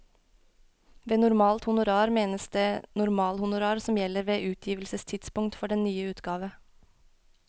Ved normalt honorar menes det normalhonorar som gjelder ved utgivelsestidspunkt for den nye utgave.